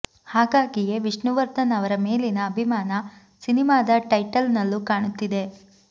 ಹಾಗಾಗಿಯೇ ವಿಷ್ಣುವರ್ಧನ್ ಅವರ ಮೇಲಿನ ಅಭಿಮಾನ ಸಿನಿಮಾದ ಟೈಟಲ್ ನಲ್ಲೂ ಕಾಣುತ್ತಿದೆ